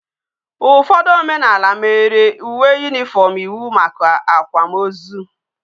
Ufodu omenala mere uwe uniform iwu maka akwa ma ozu